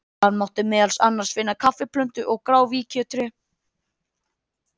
Þar mátti meðal annars finna kaffiplöntu og gráfíkjutré.